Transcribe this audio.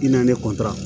I na ne